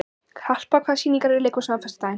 Harpa, hvaða sýningar eru í leikhúsinu á föstudaginn?